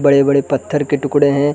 बड़े- बड़े पत्थर के टुकड़े है।